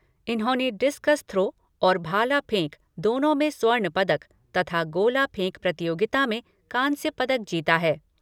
इन्होंने discus throw और भाला फेंक दोनों में स्वर्ण पदक तथा गोला फेंक प्रतियोगिता में कांस्य पदक जीता है।